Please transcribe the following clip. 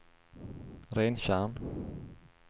Rentjärn